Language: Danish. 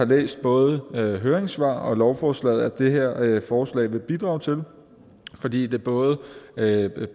læst både høringssvar og lovforslag at det her forslag vil bidrage til fordi det både